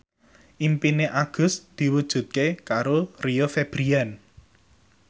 impine Agus diwujudke karo Rio Febrian